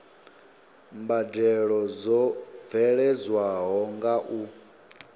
mbadelo dzo bveledzwaho nga u